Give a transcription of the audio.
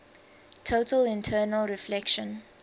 total internal reflection